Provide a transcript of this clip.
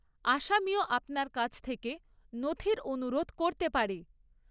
আসামীও আপনার কাছ থেকে নথির অনুরোধ করতে পারে।